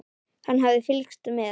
Hann hafði fylgst með